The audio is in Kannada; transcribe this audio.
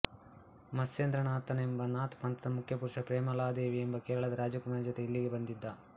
ಮತ್ಸ್ಯೇಂದ್ರನಾಥನೆಂಬ ನಾಥ್ ಪಂಥದ ಮುಖ್ಯಪುರುಷ ಪ್ರೇಮಲಾದೇವಿ ಎಂಬ ಕೇರಳದ ರಾಜಕುಮಾರಿಯ ಜೊತೆ ಇಲ್ಲಿಗೆ ಬಂದಿದ್ದ